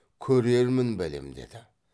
көрермін бәлем деді